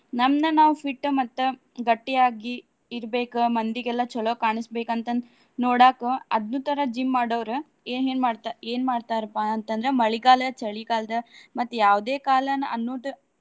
ನಮ್ನ ನಾವ್ fit ಮತ್ತ ಗಟ್ಟಿಯಾಗಿ ಇರ್ಬೆಕ್ ಮಂದಿಗೆಲ್ಲಾ ಚಲೋ ಕಾಣಸಬೇಕ್ ಅಂತ ಅಂದ್ ನೋಡಾಕ್ ಅದ್ನು ತರಾ gym ಮಾಡೊವ್ರ ಏನೇನ್ ಮಾಡ್ತಾರ ಏನ್ ಮಾಡ್ತಾರಪಾ ಅಂತ ಅಂದ್ರ ಮಳಿಗಾಲ, ಚಳಿಗಾಲ ಮತ್ತ್ ಯಾವುದೇ ಕಾಲಾನ ಅನ್ನುದು.